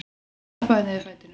Stappa niður fætinum.